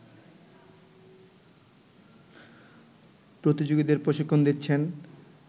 প্রতিযোগীদের প্রশিক্ষণ দিচ্ছেন